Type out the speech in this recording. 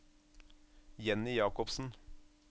Jenny Jakobsen